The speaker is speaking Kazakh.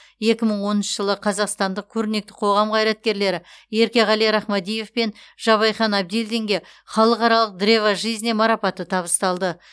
екі мың оныншы жылы қазақстандық көрнекті қоғам қайраткерлері еркеғали рахмадиев пен жабайхан әбділдинге халықаралық древо жизни марапаты табысталды